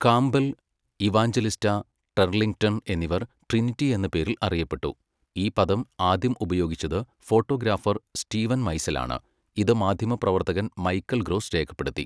Campbell, Evangelista, Turlington എന്നിവർ Trinity എന്ന പേരിൽ അറിയപ്പെട്ടു, ഈ പദം ആദ്യം ഉപയോഗിച്ചത് ഫോട്ടോഗ്രാഫർ സ്റ്റീവൻ മൈസൽ ആണ്, ഇത് മാധ്യമപ്രവർത്തകൻ മൈക്കൽ ഗ്രോസ് രേഖപ്പെടുത്തി.